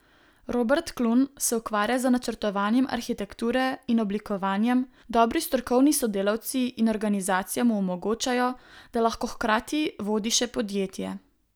Robert Klun se ukvarja z načrtovanjem arhitekture in oblikovanjem, dobri strokovni sodelavci in organizacija mu omogočajo, da lahko hkrati vodi še podjetje.